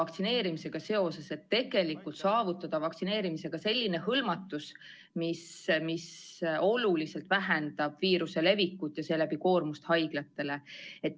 Tuleb ju tegelikult saavutada suur vaktsineerimisega hõlmatus, mis oluliselt vähendab viiruse levikut ja seeläbi koormust haiglatele.